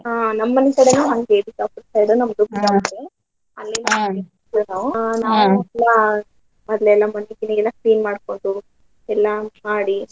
ಹ್ಮ್ ನಮ್ ಮನೀಕಡೆನು ಹಂಗೆ ನಮ್ದು ಬಿಜಾಪುರ ನಾವು ಎಲ್ಲ ಮೊದ್ಲೆಲ್ಲ ಮುಂಚೆಕಿನ ಎಲ್ಲ clean ಮಾಡ್ಕೊಂಡು ಎಲ್ಲಾ ಮಾಡಿ.